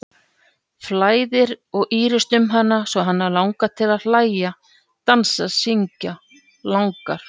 Flæðir og ýrist um hana svo hana langar til að hlæja, dansa, syngja, langar